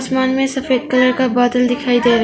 आसमान में सफेद कलर का बादल दिखाई दे रहे--